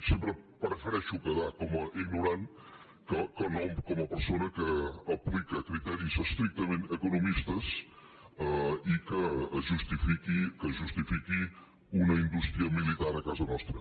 sempre prefereixo quedar com a ignorant que no com a persona que aplica criteris estrictament econòmics i que justifica una indústria militar a casa nostra